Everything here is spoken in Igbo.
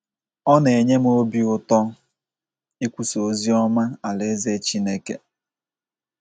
“ Ọ na - enye m obi ụtọ ụtọ ikwusa ozi ọma alaeze Chineke ”